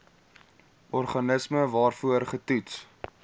organisme waarvoor getoets